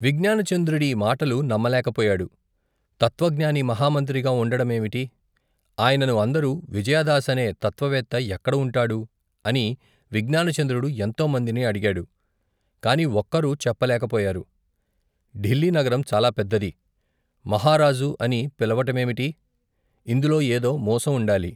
విజ్ఞానచంద్రుడీ మాటలు నమ్మలేక పొయాడు. తత్వజ్ఞాని మహామంత్రిగా ఉండడమేమిటి? ఆయనను అందరూ విజయదాసనే తత్వవేత్త యెక్కడ ఉంటాడు? అని విజ్ఞానచంద్రుడు ఎంతో మందిని అడిగాడు. కాని ఒక్కరూ చేప్పలేకపోయారు. ఢిల్లీనగరం చాలా పెద్దది.మహారాజు అని పిలవటమేమిటి? ఇందులో ఏదో మోసం ఉండాలి !